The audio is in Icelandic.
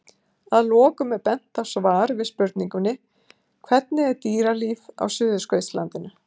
Að lokum er bent á svar við spurningunni Hvernig er dýralíf á Suðurskautslandinu?